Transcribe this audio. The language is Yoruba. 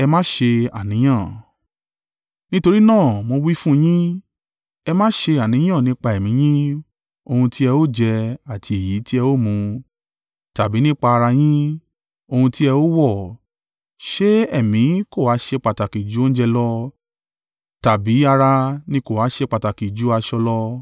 “Nítorí náà, mo wí fún yín, ẹ má ṣe ṣe àníyàn nípa ẹ̀mí yín, ohun tí ẹ ó jẹ àti èyí tí ẹ ó mu; tàbí nípa ara yín, ohun tí ẹ ó wọ̀. Ṣé ẹ̀mí kò ha ṣe pàtàkì ju oúnjẹ lọ tàbí ara ni kò ha ṣe pàtàkì ju aṣọ lọ?